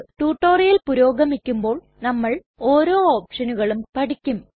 tutorial പുരോഗമിക്കുമ്പോൾ നമ്മൾ ഓരോ ഒപ്ഷനുകളും പഠിക്കും